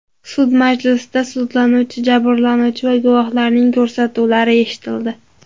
Sud majlisida sudlanuvchi, jabrlanuvchi va guvohlarning ko‘rsatuvlari eshitildi.